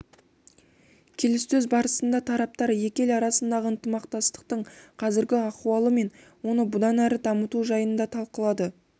келіссөз барысында тараптар екі ел арасындағы ынтымақтастықтың қазіргі ахуалы мен оны бұдан әрі дамыту жайын талқылады